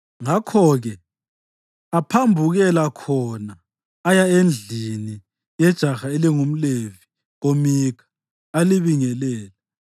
Ngakho-ke aphambukela khona aya endlini yejaha elingumLevi koMikha, alibingelela.